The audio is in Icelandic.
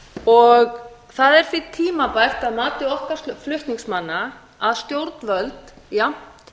og evróputitlum það er því tímabært að mati okkar flutningsmanna að stjórnvöld jafnt